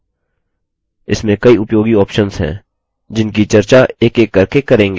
इसमें कई उपयोगी options हैं जिनकी चर्चा एकएक करके करेंगे